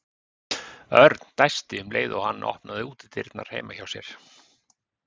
Örn dæsti um leið og hann opnaði útidyrnar heima hjá sér.